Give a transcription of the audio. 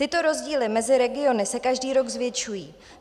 Tyto rozdíly mezi regiony se každý rok zvětšují.